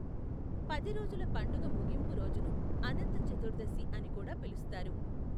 పది రోజుల పండుగ ముగింపు రోజును అనంత చతుర్దశి అని కూడా పిలుస్తారు.